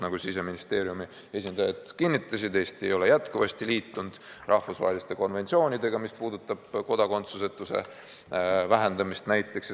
Nagu Siseministeeriumi esindajad kinnitasid, Eesti ei ole endiselt liitunud rahvusvaheliste konventsioonidega, mis puudutavad kodakondsusetuse vähendamist.